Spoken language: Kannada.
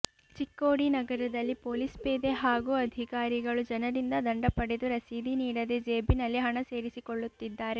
ಚಿಕ್ಕೋಡಿ ನಗರದಲ್ಲಿ ಪೊಲೀಸ್ ಪೇದೆ ಹಾಗೂ ಅಧಿಕಾರಿಗಳು ಜನರಿಂದ ದಂಡ ಪಡೆದು ರಸೀದಿ ನೀಡದೇ ಜೇಬಿನಲ್ಲಿ ಹಣ ಸೇರಿಸಿಕೊಳ್ಳುತ್ತಿದ್ದಾರೆ